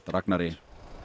Ragnari